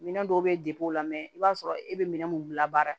Minɛn dɔw bɛ o la mɛ i b'a sɔrɔ e bɛ minɛn mun labaara